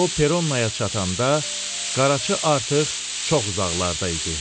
O Peronnaya çatanda qaraçı artıq çox uzaqlarda idi.